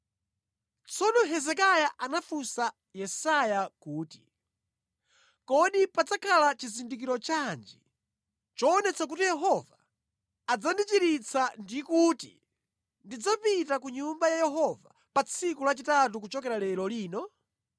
Tsono Hezekiya anafunsa Yesaya kuti, “Kodi padzakhala chizindikiro chanji choonetsa kuti Yehova adzandichiritsa ndi kuti ndidzapita ku Nyumba ya Yehova pa tsiku lachitatu kuchokera lero lino?”